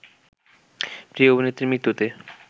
প্রিয় অভিনেত্রীর মৃত্যুতে